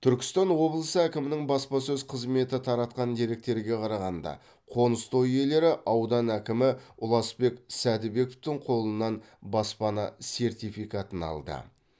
түркістан облысы әкімінің баспасөз қызметі таратқан деректерге қарағанда қоныс той иелері аудан әкімі ұласбек сәдібековтің қолынан баспана сертификатын алды